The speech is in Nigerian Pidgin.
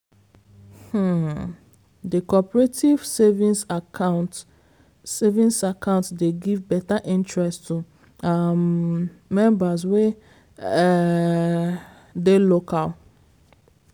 um the cooperative savings account savings account dey give better interest to um members wey um dey local.